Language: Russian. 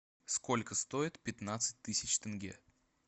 сколько стоит пятнадцать тысяч тенге